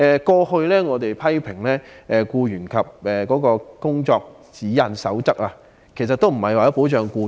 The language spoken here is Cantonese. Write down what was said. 過去我們曾批評《工作守則》並非旨在保障僱員，......